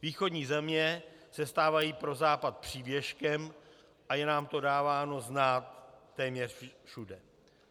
Východní země se stávají pro Západ přívěskem a je nám to dáváno znát téměř všude.